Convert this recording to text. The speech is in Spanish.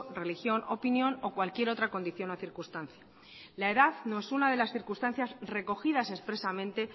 religión opinión o cualquier otra condición o circunstancia la edad no es una de las circunstancias recogidas expresamente